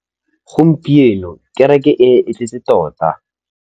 Gompieno kêrêkê e ne e tletse tota.